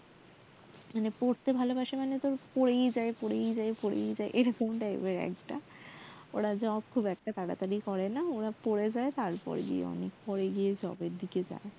পড়তে ভালোবাসে মানে পড়েই যায় পড়েই যায় পড়েই যাই এরকম type এর একটা ব্যাপার ওরা job টব অনেকটা পরেই করে পড়াশোনাটাই আগে করে